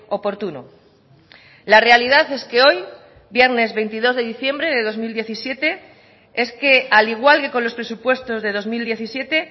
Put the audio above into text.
oportuno la realidad es que hoy viernes veintidós de diciembre de dos mil diecisiete es que al igual que con los presupuestos de dos mil diecisiete